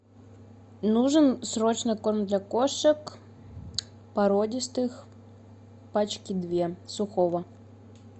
нужен срочно корм для кошек породистых пачки две сухого